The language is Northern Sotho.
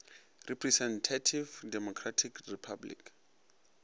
representative democratic republic